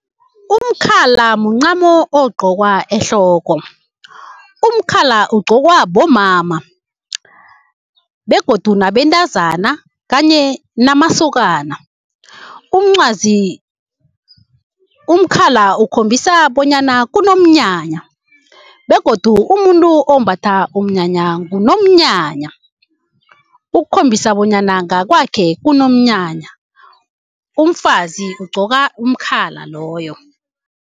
Umkhala muncamo ogqokwa ehloko. Umkhala ugqokwa bomama begodu nabentazana kanye namasokana. Umkhala ukhombisa bonyana kunomnyanya begodu umuntu ombatha umnyanya ngunomnyanya ukukhombisa bonyana ngakwakhe kunomnyanya, umfazi ugqoka umkhala loyo.